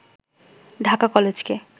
ঢাকা কলেজকে